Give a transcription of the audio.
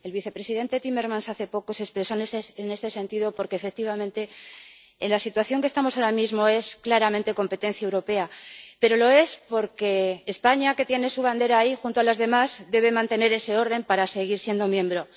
El vicepresidente Timmermans hace poco se expresó en este sentido porque, efectivamente, la situación en que estamos ahora mismo es claramente competencia europea, pero lo es porque España, que tiene su bandera ahí junto a las demás, debe mantener ese orden para seguir siendo miembro.